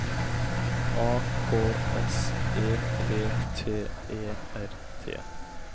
A K S E P T E R T